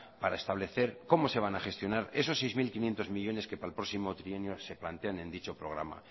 para establecer cómo se van a gestionar esos seis mil quinientos millónes que para el próximo trienio se plantean en dicho programa